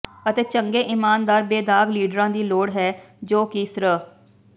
ਅਤੇ ਚੰਗੇ ਇਮਾਨਦਾਰ ਬੇਦਾਗ ਲੀਡਰਾਂ ਦੀ ਲੋੜ ਹੈ ਜੋ ਕਿ ਸ੍ਰ